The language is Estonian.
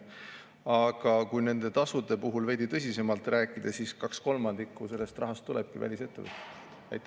Aga rääkides veidi tõsisemalt nendest tasudest, kaks kolmandikku sellest rahast tulebki välisettevõtetelt.